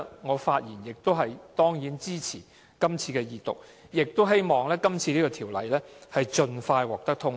我當然支持恢復二讀，亦希望《條例草案》盡快獲得通過。